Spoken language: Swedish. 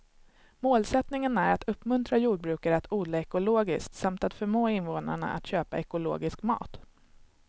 Målsättningen är att uppmuntra jordbrukare att odla ekologiskt samt att förmå invånarna att köpa ekologisk mat.